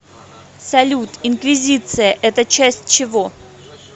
салют инквизиция это часть чего